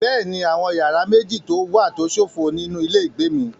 Bẹ́ẹ̀ni, àwọn yàrá méjì wà tó ṣófo nínú ilé ìgbé mi.